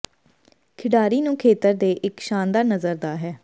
ਖਿਡਾਰੀ ਨੂੰ ਖੇਤਰ ਦੇ ਇੱਕ ਸ਼ਾਨਦਾਰ ਨਜ਼ਰ ਦਾ ਹੈ